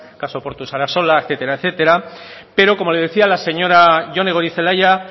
caso portu sarasola etcétera etcétera pero como le decía la señora jone goirizelaia